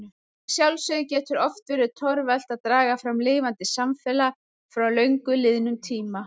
Að sjálfsögðu getur oft verið torvelt að draga fram lifandi samfélag frá löngu liðnum tíma.